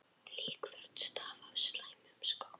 Líkþorn stafa af slæmum skóm.